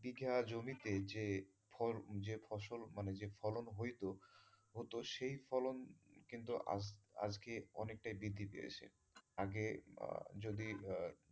বিঘা জমিতে যে ফসল মানে যে ফলন হইতো, হোত সেই ফলন কিন্তু আজকে অনেকটাই বৃদ্ধি পেয়েছে